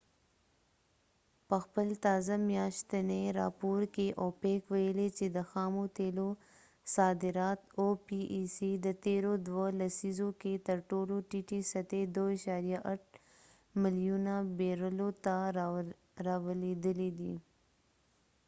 په خپل تازه میاشتنی راپور کې اوپیک opecويلی چې د خامو تیلو صادرات د تیرو دوه لسیزو کې تر ټولو ټیټی سطحی 2.8 ملیونه بیرلو ته راولويدلی دي